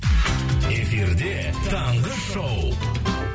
эфирде таңғы шоу